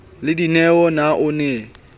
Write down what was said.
le dineo na o ne